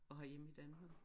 Og herhjemme i Danmark